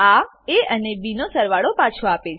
આ એ અને બી નો સરવાળો પાછો આપે છે